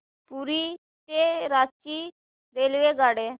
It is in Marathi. पुरी ते रांची रेल्वेगाड्या